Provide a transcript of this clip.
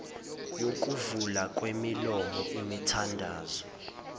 yokuvulwa kwemilomo imithandazo